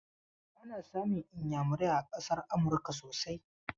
Ana samun iyamurai a ƙasar Amurka sosai.